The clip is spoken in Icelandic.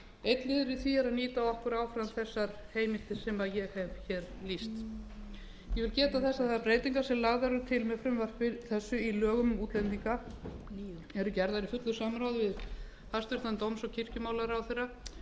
einnig verðum við að nýta okkur áfram þessar heimildir sem ég hef hér lýst ég vil geta þess að þær breytingar sem lagðar eru til með frumvarpi þessu í lögum um útlendinga eru gerðar í fullu samráði við hæstvirts dóms og kirkjumálaráðherra